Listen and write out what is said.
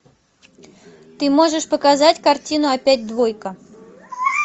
ты можешь показать картину опять двойка